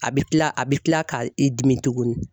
A bɛ kila a bɛ tila k'a i dimi tugunni.